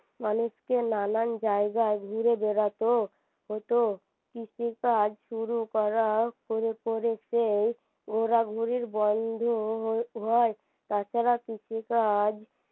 মানুষ কে নানান জায়গায় ঘুরে বেড়াত হতো কৃষিকাজ শুরু করা করে করে যেই ঘুরাঘুরি বন্ধও হয় তাছাড়া কৃষিকাজ